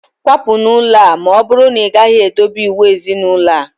Kwapụ n'ụlọ a! na ọbụrụ na ị gaghị edobe iwu ezinaulo a